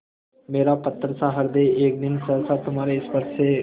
मेरा पत्थरसा हृदय एक दिन सहसा तुम्हारे स्पर्श से